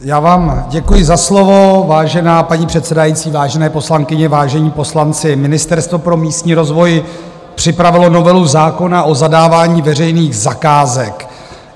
Já vám děkuji za slovo, vážená paní předsedající, vážené poslankyně, vážení poslanci, Ministerstvo pro místní rozvoj připravilo novelu zákona o zadávání veřejných zakázek.